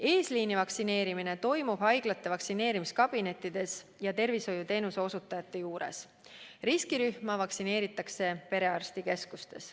Eesliini vaktsineerimine toimub haiglate vaktsineerimiskabinettides ja muude tervishoiuteenuse osutajate juures, riskirühmi vaktsineeritakse perearstikeskustes.